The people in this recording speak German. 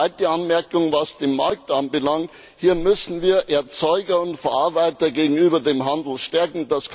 Zweite Anmerkung, was den Markt anbelangt Hier müssen wir Erzeuger und Verarbeiter gegenüber dem Handel stärken.